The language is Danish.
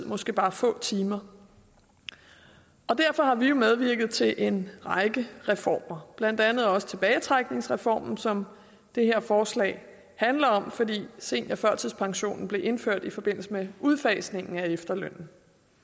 måske bare få timer derfor har vi jo medvirket til en række reformer blandt andet også tilbagetrækningsreformen som det her forslag handler om fordi seniorførtidspensionen blev indført i forbindelse med udfasningen af efterlønnen